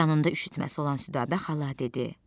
Canında üşütməsi olan Südabə xala dedi: